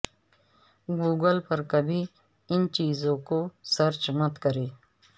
Google پر کبھی ان چیزوں کو سرچ مت کریں